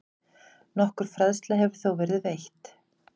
Nokkur fræðsla hefur þó verið veitt.